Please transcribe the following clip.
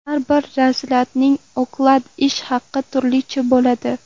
Har bir razryadning oklad ish haqi turlicha bo‘ladi.